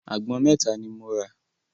Àgbọn mẹ́ta ni mo rà.